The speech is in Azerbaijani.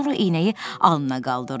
Sonra eynəyi alnına qaldırdı.